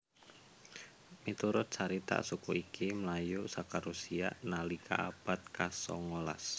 Miturut carita suku iki mlayu saka Rusia nalika abad kasongolas